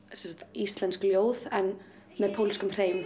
íslensk ljóð en með pólskum hreim